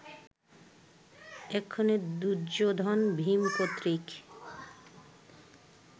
এক্ষণে দুর্যোধন, ভীম কর্তৃক